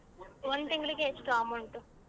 ಒಂದ್ ತಿಂಗ್ಳಿಗೆ ಎಷ್ಟ್ amount?